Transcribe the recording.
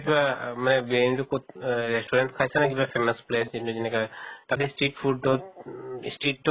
মানে তো কʼত অহ restaurant ত খাইছা নে কিবা famous place এইটো যেনেকা তাতে street food ত উম street তো